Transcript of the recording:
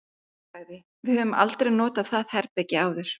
Hún sagði: Við höfum aldrei notað það herbergi áður